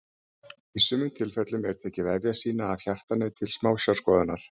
í sumum tilfellum er tekið vefjasýni af hjartanu til smásjárskoðunar